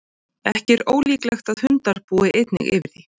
ekki er ólíklegt að hundar búi einnig yfir því